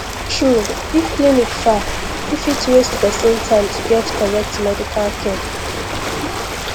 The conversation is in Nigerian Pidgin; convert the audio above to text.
true if clinic far e fit waste person time to get correct medical care